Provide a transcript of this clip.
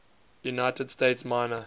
united states minor